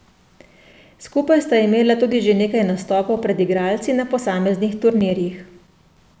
Skupaj sta imela tudi že nekaj nastopov pred igralci na posameznih turnirjih.